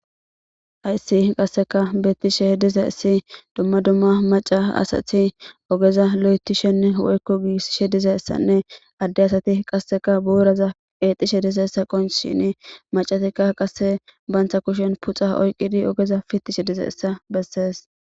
hayssi qasseka bettishe diza issi dumma dumma maca asathi ogeza lo7etishenne woykko giissishe diza issanne adde asati qasseka buuraza qeexishe diza essa qon shini macatikka qasse bantha kushen puxa oyqidi ogeza fittishe diza essa bessees